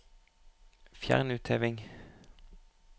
Fjern utheving